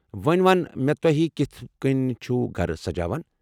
ووٚنۍ وَن مےٚ تۄہہِ کِتھہٕ کٔنۍ چُھو گرٕ سجاوان؟